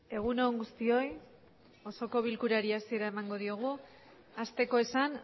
egun on guztioi osoko bilkurari hasiera emango diogu asteko esan